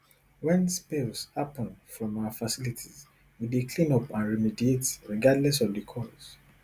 wen spills happun from our facilities we dey clean up and remediate regardless of di cause